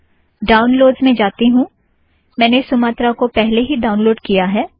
downloads में जाती हूँ - मैंने सुमत्रा को पहले ही ड़ाउनलोड़ किया है